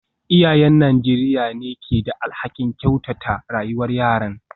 Iyayen Najeriya ne ke da alhakin kyautata rayuwar yaran.